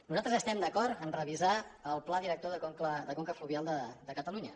nosaltres estem d’acord a revisar el pla director de conca fluvial de catalunya